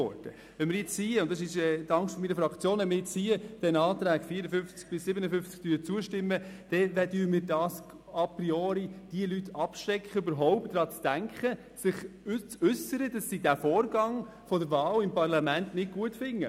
Wenn wir jetzt hier den Artikeln 54 und 55 zustimmen, dann schrecken wir die Leute a priori davon ab, zum Ausdruck zu bringen, dass sie eine Wahl im Parlament nicht gut finden.